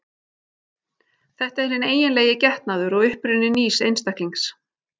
Þetta er hinn eiginlegi getnaður og uppruni nýs einstaklings.